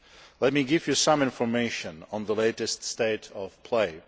Let me give you some information on the latest state of play.